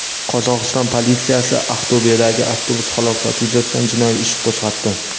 Qozog‘iston politsiyasi Aqto‘bedagi avtobus halokati yuzasidan jinoiy ish qo‘zg‘atdi.